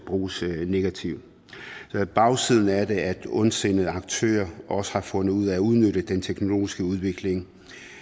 bruges negativt bagsiden af det er at ondsindede aktører også har fundet ud af at udnytte den teknologiske udvikling